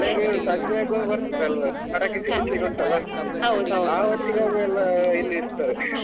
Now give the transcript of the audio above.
ಹಾ ಗೆಳೆಯರು ಸಂಜೆಯಾಗ್ವಗ ಬರ್ತಾರೆ ಎಲ್ಲ ಪಟಾಕಿ ಸಿಡಿಸ್ಲಿಕ್ ಉಂಟಲ್ಲಾ ಆ ಹೊತ್ತಿಗಾಗುವಾಗ ಎಲ್ಲ ಇಲ್ಲಿರ್ತಾರೆ .